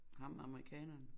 Ham amerikaneren